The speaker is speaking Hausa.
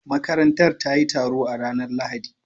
Makarantar ta yi taro a ranar Lahadi